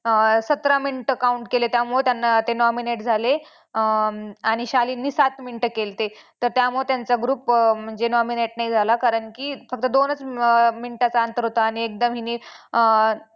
सतरा मिनिटं count केले त्यामुळे त्यांना ते nominate झाले अं आणि शालीनने सात मिनिटं केलते तर त्यामुळे त्यांचा group nominate नाही झाला कारण की फक्त दोनच मिनिटाचं अंतर होतं आणि एकदम हिने अं